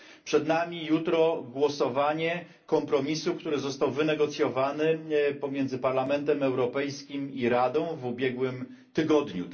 Przed nami jutro głosowanie kompromisu, który został wynegocjowany pomiędzy Parlamentem Europejskim i Radą w ubiegłym tygodniu.